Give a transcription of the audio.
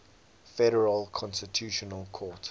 federal constitutional court